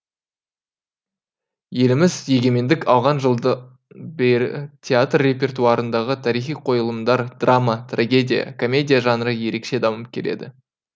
еліміз егемендік алған жылдан бері театр репертуарындағы тарихи қойылымдар драма трагедия комедия жанры ерекше дамып келеді